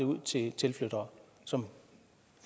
ud til tilflyttere som